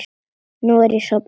Nú er ég sofnuð.